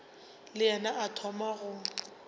le yena a thoma go